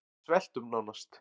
Við sveltum nánast